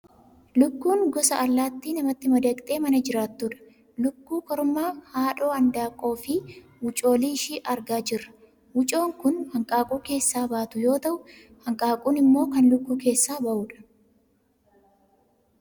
Lukkuun gosa allaattii namatti madaqxee mana jiraattudha. Lukkuu kormaa, haadha handaaqqoo fi wucoolii ishii argaa jirra. Wucoon kan hanqaaquu keessaa baatu yoo ta'u, hanqaaquun immoo kan lukkuu keessaa ba'u dha.